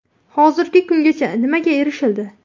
Hozirgi kungacha nimaga erishildi?